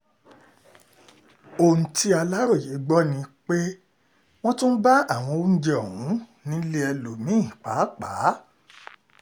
ohun tí aláròye gbọ́ ni gbọ́ ni pé wọ́n tún bá àwọn oúnjẹ ọ̀hún nílé ẹlòmí-ín pàápàá